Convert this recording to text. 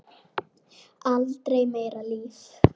Aldrei meira líf.